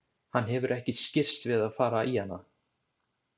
Hann hefur ekki skirrst við að fara í hana.